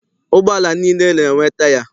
Ụgbọala niile na-enwe taya.